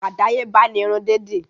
Àdáyébá ni irun dídì